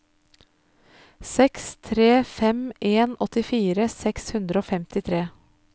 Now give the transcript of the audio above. seks tre fem en åttifire seks hundre og femtitre